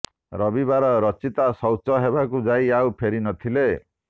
ରବିବାର ରଚିତା ଶୌଚ ହେବାକୁ ଯାଇ ଆଉ ଫେରି ନଥିଲେ